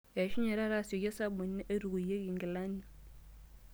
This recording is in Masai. Eishunye taata asioki osabuni oitukuyieki nkilani.